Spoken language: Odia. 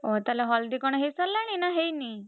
ଓହୋ ତାହେଲେ ହଳଦୀ କଣ ହେଇସାରିଲାଣି ନା ହେଇନି?